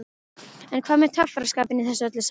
En hvað með töffaraskapinn í þessu öllu saman?